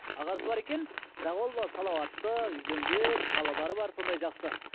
ағасы бар екен бірақ ол салауатты үйленген балалары бар сондай жақсы